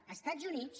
els estats units